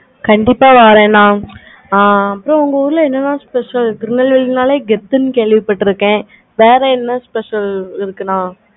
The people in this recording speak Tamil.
கண்டிப்பா வரேன் நா அப்பறம் உங்க ஊருல எண்ணலாம் special திருநெல்வேலினாலே கெத்துனு கேள்வி பட்டு இருக்கேன். வேற என்ன special இருக்குன்னா?